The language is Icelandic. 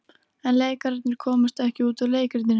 En leikararnir komast ekki út úr leikritinu.